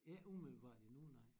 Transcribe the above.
Ikke umiddelbart endnu nej